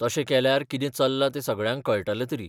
तशें केल्यार कितें चल्लां ते सगळ्यांक कळटलें तरी.